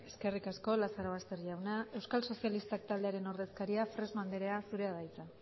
eskerrik asko lazarobaster jauna euskal sozialistak taldearen ordezkaria fresno andrea zurea da hitza